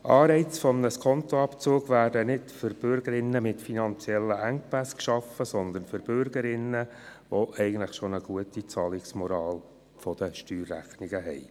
Anreize eines Skontoabzugs werden nicht für Bürgerinnen und Bürger mit finanziellen Engpässen geschaffen, sondern für Bürgerinnen und Bürger, die bereits eine gute Zahlungsmoral der Steuerrechnungen haben.